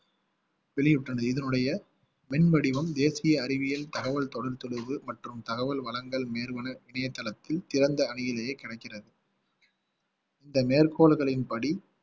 வெளியிட்டுள்ளனர் இதனுடைய மின் வடிவம் தேசிய அறிவியல் தகவல் தொலைத் தொடர்பு மற்றும் தகவல் வழங்கல் நிறுவன இணையதளத்தில் சிறந்த அணியிலேயே கிடைக்கிறது இந்த மேற்கோள்களின் படி